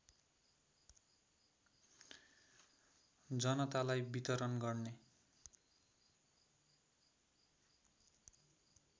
जनतालाई वितरण गर्ने